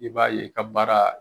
I b'a ye i ka baara